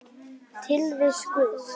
Tilvist Guðs